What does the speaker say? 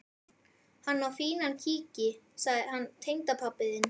Hann á fínan kíki, hann tengdapabbi þinn.